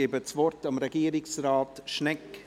Ich gebe das Wort Regierungsrat Schnegg.